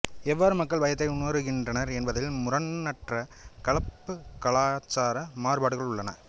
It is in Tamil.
எவ்வாறு மக்கள் பயத்தை உணருகின்றனர் என்பதில் முரணற்ற கலப்புகலாச்சார மாறுபாடுகள் உள்ளன